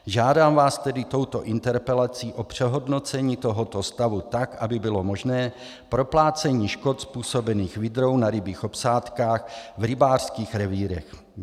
Žádám vás tedy touto interpelací o přehodnocení tohoto stavu tak, aby bylo možné proplácení škod způsobených vydrou na rybích obsádkách v rybářských revírech.